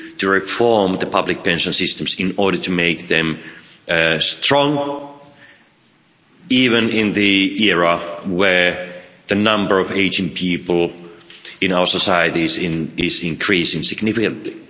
reforming the public pension systems in order to make them strong, even in an era where the number of aging people in our societies is increasing significantly.